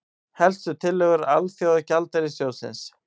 Helstu tillögur Alþjóðagjaldeyrissjóðsins